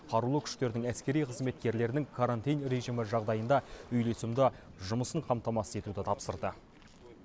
қарулы күштердің әскери қызметкерлерінің карантин режимі жағдайында үйлесімді жұмысын қамтамасыз етуді тапсырды